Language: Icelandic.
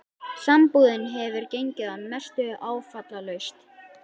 Sambúðin hefur gengið að mestu áfallalaust.